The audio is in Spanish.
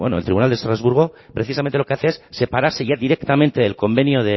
bueno el tribunal de estrasburgo precisamente lo que hace es separarse ya directamente del convenio